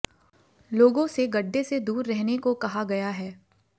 लोगों से गड्ढे से दूर रहने को कहा गया है